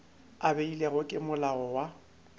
a beilwego ke molao wa